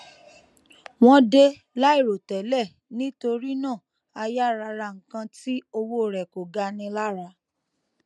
wón dé láìròtélè nítorí náà a yára ra nǹkan tí owó rẹ kò gani lára